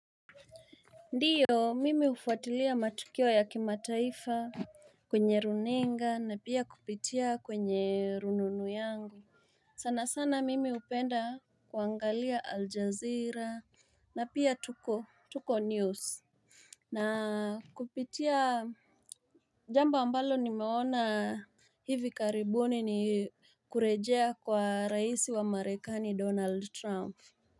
Ndiyo mimi ufuatilia matukio ya kimataifa kwenye runinga na pia kupitia kwenye rununu yangu sana sana mimi upenda kuangalia Al Jazeera na pia Tuko Tuko News na kupitia jambo ambalo nimeona hivi karibuni ni kurejea kwa raisi wa marekani Donald Trump.